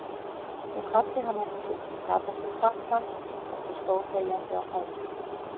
Ég kvaddi hann ekki, gat ekki kvatt hann, heldur stóð þegjandi á fætur.